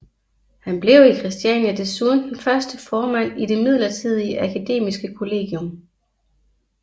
Han blev i Christiania desuden den første formand i det midlertidige akademiske kollegium